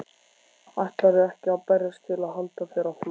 Ætlarðu ekki að berjast til að halda þér á floti?